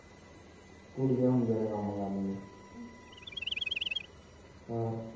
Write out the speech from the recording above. ਕੁੜੀਆਂ ਹੁੰਦੀਆਂ ਨੇ ਕੰਮ ਕਰਨ ਨੂੰ ਹੋਰ